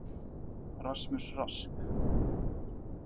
Rasmus Rask.